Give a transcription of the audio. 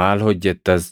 Maal hojjettas?